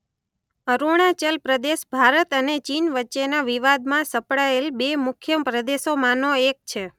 અરુણાચલ પ્રદેશ ભારત અને ચીન વચ્ચેના વિવાદમાં સપડાયેલ બે મુખ્ય પ્રદેશોમાંનો એક છે.